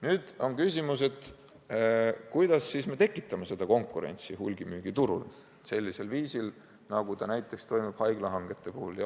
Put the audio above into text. Nüüd on küsimus, kuidas me siis tekitame seda konkurentsi hulgimüügiturul sellisel viisil, nagu see toimub näiteks haiglahangete puhul.